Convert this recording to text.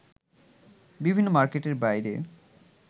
বিভিন্ন মার্কেটের বাইরে